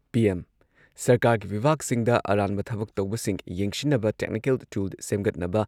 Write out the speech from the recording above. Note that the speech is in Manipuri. ꯄꯤ.ꯑꯦꯝ ꯁꯔꯀꯥꯔꯒꯤ ꯕꯤꯚꯥꯒꯁꯤꯡꯗ ꯑꯔꯥꯟꯕ ꯊꯕꯛ ꯇꯧꯕꯁꯤꯡ ꯌꯦꯡꯁꯤꯟꯅꯕ ꯇꯦꯛꯅꯤꯀꯦꯜ ꯇꯨꯜ ꯁꯦꯝꯒꯠꯅꯕ